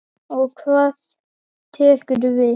Og hvað tekur við?